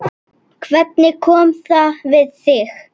Hvernig kom það við þig?